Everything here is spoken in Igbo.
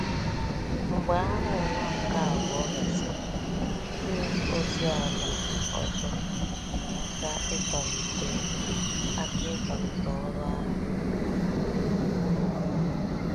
Mgbe Agha Ụwa nke Abụọ gasịrị, ndị ozi ala ọzọ nyere aka ịkwalite aka ịkwalite ọrụ ahụ.